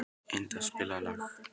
Eníta, spilaðu lag.